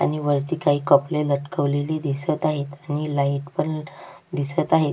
आणि वरती काही कपडे लटकवलेले दिसत आहेत आणि लाइट पण दिसत आहेत.